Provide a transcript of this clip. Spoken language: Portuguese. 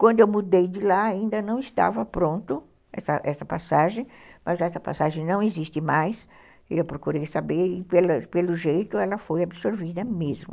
Quando eu mudei de lá, ainda não estava pronto essa essa passagem, mas essa passagem não existe mais, e eu procurei saber, e pelo jeito ela foi absorvida mesmo.